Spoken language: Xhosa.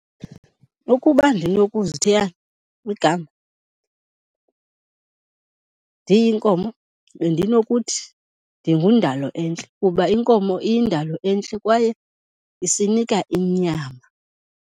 Ukuba ndinokuzithiya igama ndiyinkomo, bendinokuthi ndinguNdalo-entle kuba inkomo iyindalo entle kwaye isinika inyama.